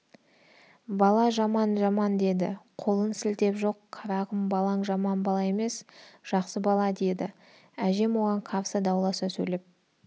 бала жаман жаман деді қолын сілтеп жоқ қарағым балаң жаман бала емес жақсы бала деді әжем оған қарсы дауласа сөйлеп